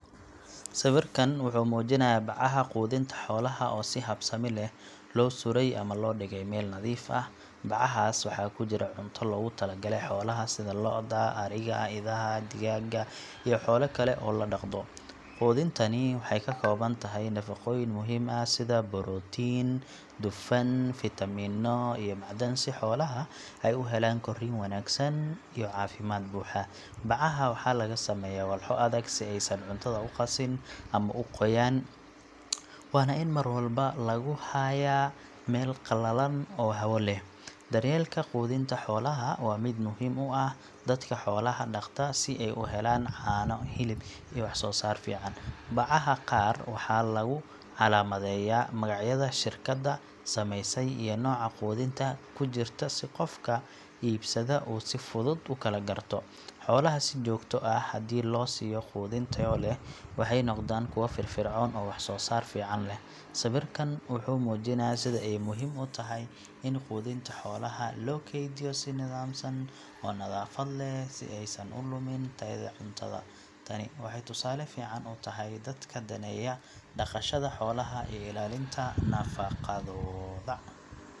Sawirkan wuxuu muujinayaa bacaha quudinta xoolaha oo si habsami leh loo sudhay ama loo dhigay meel nadiif ah. Bacahaas waxaa ku jira cunto loogu talagalay xoolaha sida lo’da, ariga, idaha, digaagga iyo xoolo kale oo la dhaqdo. Quudintani waxay ka kooban tahay nafaqooyin muhiim ah sida borotiin, dufan, fiitamiino iyo macdan si xoolaha ay u helaan korriin wanaagsan iyo caafimaad buuxa. Bacaha waxaa laga sameeyaa walxo adag si aysan cuntadu u qasin ama u qoyaan, waana in mar walba lagu hayaa meel qalalan oo hawo leh. Daryeelka quudinta xoolaha waa mid muhiim u ah dadka xoolaha dhaqda si ay u helaan caano, hilib iyo wax soo saar fiican. Bacaha qaar waxaa lagu calaamadeeyaa magacyada shirkadda samaysay iyo nooca quudinta ku jirta si qofka iibsada uu si fudud u kala garto. Xoolaha si joogto ah haddii loo siiyo quudin tayo leh, waxay noqdaan kuwo firfircoon oo wax soo saar fiican leh. Sawirkan wuxuu muujinayaa sida ay muhiim u tahay in quudinta xoolaha loo kaydiyo si nidaamsan oo nadaafad leh si aysan u lummin tayada cuntada. Tani waxay tusaale fiican u tahay dadka daneeya dhaqashada xoolaha iyo ilaalinta nafaqadooda.